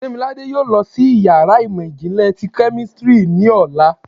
Demilade yóò lọ si ìyára imọ jinlẹ tí kemistri ni ọla.